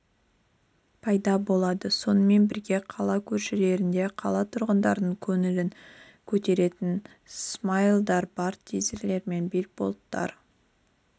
пайда болады сонымен бірге қала көшелерінде қала тұрғындарының көңілін көтеретін смайлдары бар тизерлер мен билбордтар